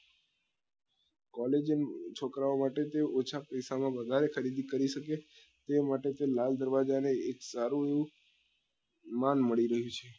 collagen છોકરા ઓ માટે તે ઓછા પૈસા માં વધારે ખરીદી કરી શકે તે માટે તે લાલ દરવાજા ને એક સારું વ માં મળી રહ્યું છે